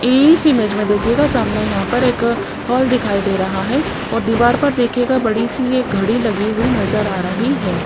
इस इमेज में देखिएगा सामने यहां पर एक हाल दिखाई दे रहा है और दीवार पर देखिएगा बड़ी सी एक घड़ी लगी हुई नजर आ रही है।